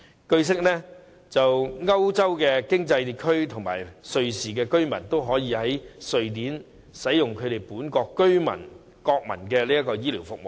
據悉，歐洲經濟區和瑞士居民均可以在瑞典使用本國居民或國民的醫療服務。